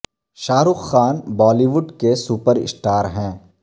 شاہ Rukh Khan Bollywood کے super star ہیں